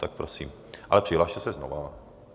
Tak prosím, ale přihlaste se znova.